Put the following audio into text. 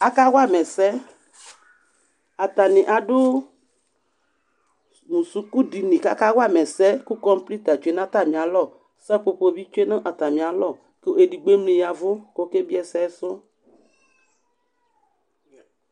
Akawa ma ɛsɛ Atanɩ adʋ mʋ sukudini kʋ akawa ma ɛsɛ kʋ kɔmpuita tsue nʋ atamɩalɔ, sapopo bɩ tsue nʋ atamɩalɔ kʋ edigbo emli ya ɛvʋ kʋ ɔkebie ɛsɛ sʋ